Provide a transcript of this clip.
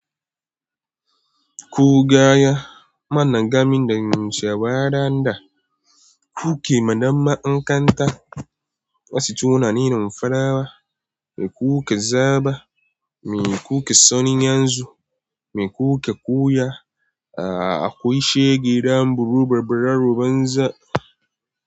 Ko gaya mana gamin da yawon da kuke madama inganta, masu tunanin farawa, me kuke zaba, me kuke son yanzu, me kuke koya, akwai shegidan buri, babbar rubar banza.